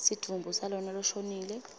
sidvumbu salona loshonile